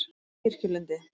Kirkjulundi